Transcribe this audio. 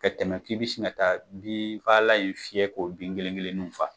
Ka tɛmɛ k'i bɛ se ka taa bin fagalan in fiyɛ k'o bin kelen kelenw faga.